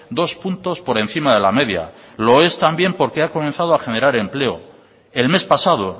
dos puntos por encima de la media lo es también porque ha comenzado a generar empleo el mes pasado